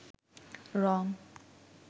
রঙ